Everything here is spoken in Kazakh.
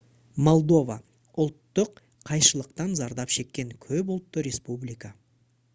молдова ұлттық қайшылықтан зардап шеккен көп ұлтты республика